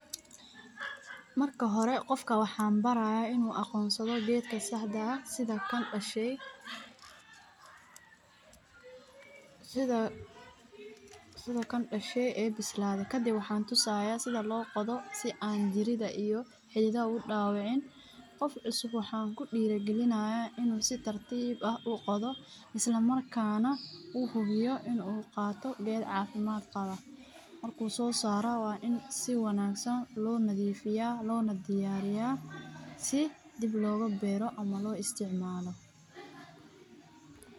Marka hore qofka waxaan baraya inuu aqoonsado geedka saxda ah si loo ogaado sida loo qodo isla markaana uu qaato wax nadiif ah si dib loogu beero.